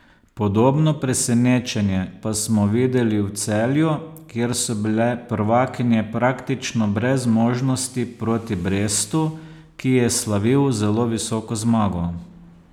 Podobno presenečenje pa smo videli v Celju, kjer so bile prvakinje praktično brez možnosti proti Brestu, ki je slavil zelo visoko zmago.